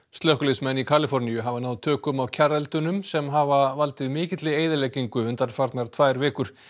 slökkviliðsmenn í Kaliforníu hafa náð tökum á sem hafa valdið mikilli eyðileggingu undanfarnar tvær vikur